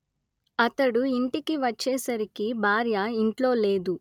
అతడు ఇంటికి వచ్చేసరికి భార్య ఇంట్లో లేదు